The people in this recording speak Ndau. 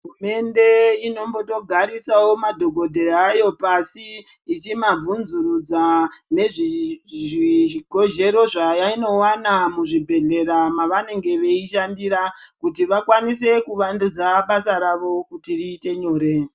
Hurumende inombotogarisawo madhogodheya ayo pashi ichimabvunzurudza nezvezvigozhero zvayinowana muzvibhedhllera mavanenge veishandira kuti vakwanise kuvandudza basa ravo kuti riite nyore.